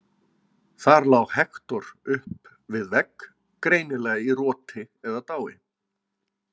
Þar lá Hektor upp við vegg, greinilega í roti eða dái.